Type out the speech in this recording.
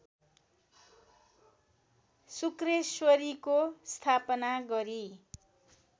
शुक्रेश्वरीको स्थापना गरी